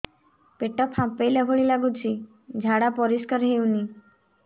ପେଟ ଫମ୍ପେଇଲା ଭଳି ଲାଗୁଛି ଝାଡା ପରିସ୍କାର ହେଉନି